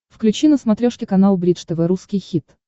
включи на смотрешке канал бридж тв русский хит